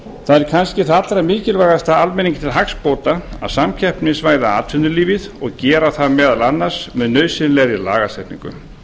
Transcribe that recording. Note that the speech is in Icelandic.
er kannski það allra mikilvægasta almenningi til hagsbóta að samkeppnisvæða atvinnulífið og gera það meðal annars með nauðsynlegri lagasetningu